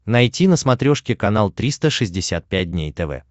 найти на смотрешке канал триста шестьдесят пять дней тв